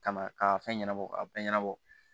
Ka na k'a fɛn ɲɛnabɔ ka ɲɛnabɔ